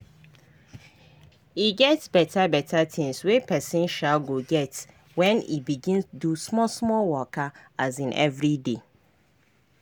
e get beta beta tinz wey pesin um go get when e begin do small small waka um everyday